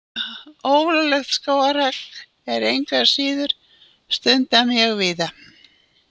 Ólöglegt skógarhögg er engu að síður stundað mjög víða.